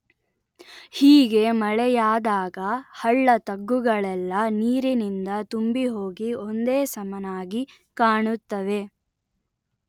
ಹೀಗೆ ಮಳೆಯಾದಾಗ ಹಳ್ಳ ತಗ್ಗುಗಳೆಲ್ಲ ನೀರಿನಿಂದ ತುಂಬಿಹೋಗಿ ಒಂದೇ ಸಮನಾಗಿ ಕಾಣುತ್ತವೆ